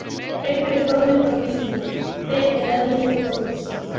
Frekari fróðleikur á Vísindavefnum: Hver er eðlilegur blóðþrýstingur?